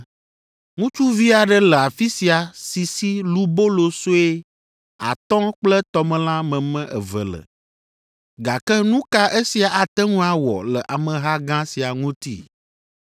“Ŋutsuvi aɖe le afi sia si si lubolo sue atɔ̃ kple tɔmelã meme eve le, gake nu ka esia ate ŋu awɔ le ameha gã sia ŋuti?”